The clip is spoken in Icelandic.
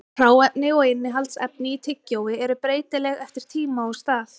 Hráefni og innihaldsefni í tyggjói eru breytileg eftir tíma og stað.